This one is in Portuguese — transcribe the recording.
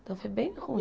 Então foi bem ruim.